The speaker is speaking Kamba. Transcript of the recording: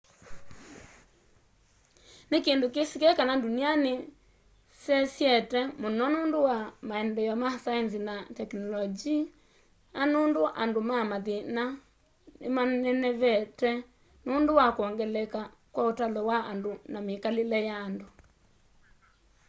ni kindu kisikie kana ndunia ni sesyete mũno nũndũ wa maendeeo ya saenzi na teknolonji ya andũ na mathina nimanenevete nũndũ wa kwongeleka kwa ũtalo wa andũ na mikalile ya andũ